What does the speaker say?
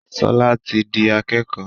Shola tí dì akékò.